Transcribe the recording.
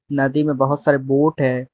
नदी में बहोत सारे बोट है।